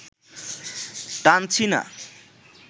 টানছি না